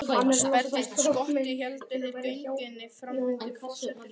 Sperrtist skottið héldu þeir göngunni áfram undir forystu Refs.